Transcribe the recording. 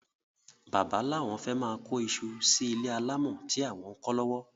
Bàbá lawon fé máà kó isu sí ilé alámò tí àwon ń kó lówó.